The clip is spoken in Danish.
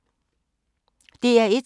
DR1